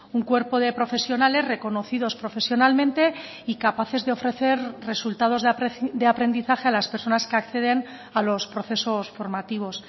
un cuerpo de profesionales reconocidos profesionalmente y capaces de ofrecer resultados de aprendizaje a las personas que acceden a los procesos formativos